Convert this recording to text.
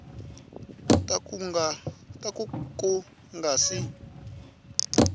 ta ku ku nga si